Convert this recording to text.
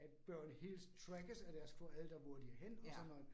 At børn helst trackes af deres forældre, hvor de er henne og sådan noget